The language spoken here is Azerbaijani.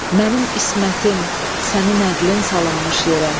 Mənim ismətim sənin ədlin salınmış yerə.